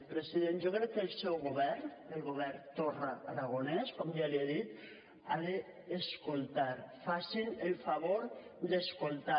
president jo crec que el seu govern el govern torra aragonès com ja l’hi he dit ha d’escoltar facin el favor d’escoltar